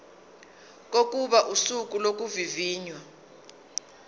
kokuba usuku lokuvivinywa